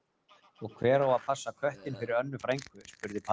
Og hver á að passa köttinn fyrir Önnu frænku? spurði pabbi.